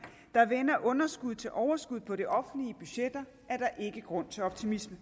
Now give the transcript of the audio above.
der vender underskud til overskud på de offentlige budgetter er der ikke grund til optimisme